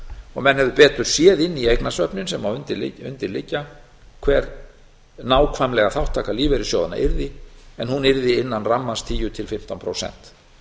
og menn hefðu betur séð inn í eignasöfnin sem undir liggja hver nákvæmlega þátttaka lífeyrissjóðanna yrði en hún yrði innan rammans tíu til fimmtán prósent